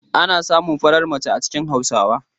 Ana samun farar mace a cikin Hausawa.